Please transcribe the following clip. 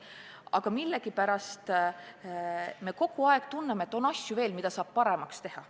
Aga millegipärast me kogu aeg tunneme, et on veel asju, mida saab paremaks teha.